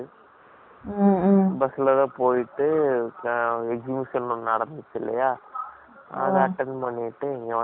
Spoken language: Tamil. அதை attend பண்ணிட்டு, இங்க வந்ததுனால, அப்படி,